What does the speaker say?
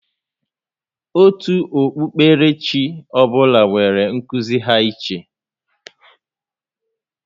Òtù okpukpere chi ọ bụla nwèrè nkuzi ha iche